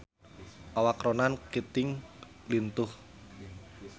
Awak Ronan Keating lintuh